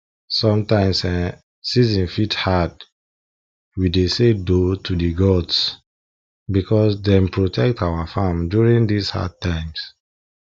sometimes[um]season fit hard we dey say doh to the gods because dem protect our farm during these hard times